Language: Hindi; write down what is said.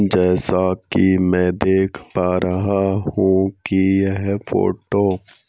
जैसा कि मैं देख पा रहा हूं कि यह फोटो --